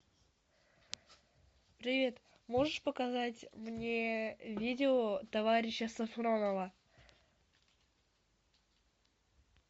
привет можешь показать мне видео товарища сафронова